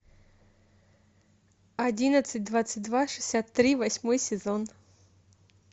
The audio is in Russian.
одиннадцать двадцать два шестьдесят три восьмой сезон